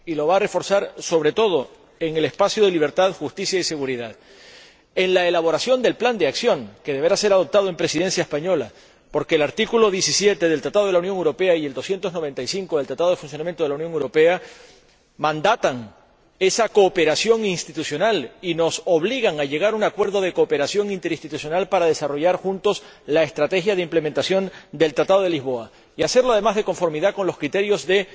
Y lo va a reforzar, sobre todo, en el espacio de libertad, justicia y seguridad y en la elaboración del plan de acción que deberá ser adoptado durante la Presidencia española porque el artículo 17 del Tratado de la Unión Europea y el 295 del Tratado de Funcionamiento de la Unión Europea mandatan esa cooperación institucional y nos obligan a llegar a un acuerdo de cooperación interinstitucional para desarrollar juntos la estrategia de implementación del Tratado de Lisboa, y a hacerlo, además, de conformidad con los criterios de